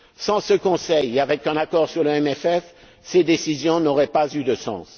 Sans ce Conseil, et avec un accord sur le CFP, ces décisions n'auraient pas eu de sens.